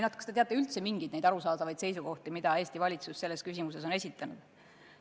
Kas te teate üldse mingeid arusaadavaid seisukohti, mida Eesti valitsus selles küsimuses on esitanud?